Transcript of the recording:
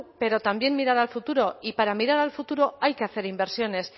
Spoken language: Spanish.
pero también mirada al futuro y para mirar al futuro hay que hacer inversiones